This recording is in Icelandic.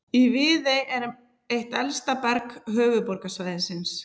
Í Viðey er eitt elsta berg höfuðborgarsvæðisins.